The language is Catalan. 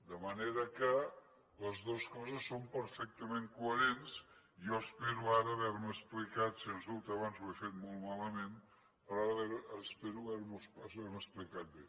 de manera que les dues coses són perfectament coherents i jo espero ara haver me explicat sens dubte abans ho he fet molt malament espero haver me explicat bé